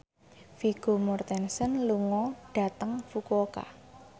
Vigo Mortensen lunga dhateng Fukuoka